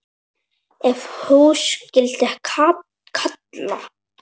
Ef hús skyldi kalla.